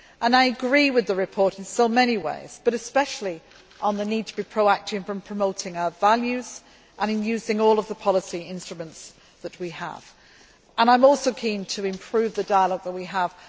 well. I agree with the report in so many ways, but especially on the need to be proactive in promoting our values and in using all of the policy instruments that we have. I am also keen to improve the dialogue that